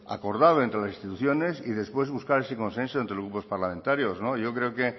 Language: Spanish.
acordado entre las instituciones y después buscar ese consenso entre los grupos parlamentarios yo creo que